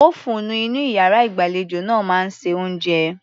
Ófúùnù inú iyàrá ìgbàlejò náà máa ń se oúnjẹ.